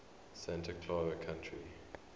santa clara county